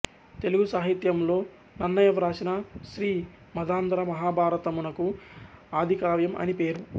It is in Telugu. తెలుగు సాహిత్యంలో నన్నయ వ్రాసిన శ్రీ మదాంధ్ర మహాభారతము నకు ఆదికావ్యం అని పేరు